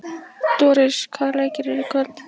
Doris, hvaða leikir eru í kvöld?